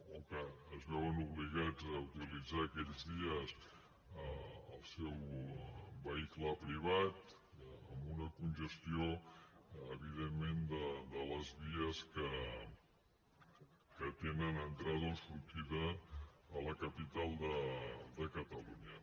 o que es veuen obligats a utilitzar aquells dies el seu vehicle privat amb una congestió evidentment de les vies que tenen entrada o sortida a la capital de catalunya